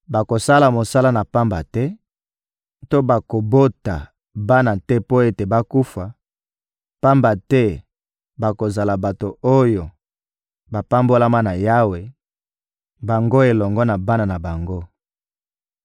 Bakosala mosala na pamba te to bakobota bana te mpo ete bakufa; pamba te bakozala bato oyo bapambolama na Yawe, bango elongo na bana na bango.